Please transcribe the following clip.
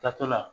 Taatɔ la